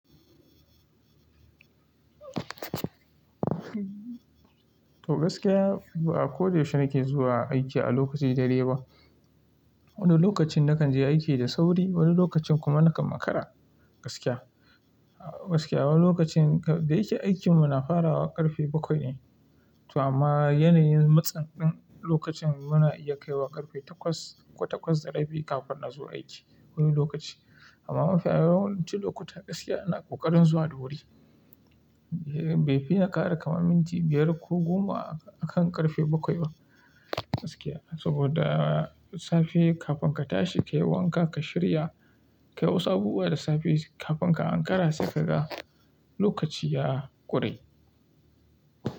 To gaskiya, ba'a ko da yaushe nake zuwa aiki a lokaci daidai ba. Wani lokacin na kan je aiki da sauri, wani lokacin kuma na kan makara, gaskiya. Gaskiya wani lokacin da yake aikin mu na farawa ƙarfe bakwai ne, to amma yanayin matsan lokacin mu na iya kai wa ƙarfe takwas, ko takwas da rabi kafin na zo aiki wani lokaci. Amma mafi yawancin lokuta gaskiya ina ƙoƙarin zuwa da wuri. Bai fi na ƙara kamar minti biyar ko goma har ƙarfe bakwai ba gaskiya. Saboda safe kafin ka tashi ka yi wanka, ka shirya, ka yi wasu abubuwa da safe kafin ka ankara se ka ga lokaci ya ƙure.